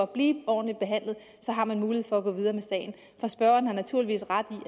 blive ordentligt behandlet har man mulighed for at gå videre med sagen for spørgeren har naturligvis ret i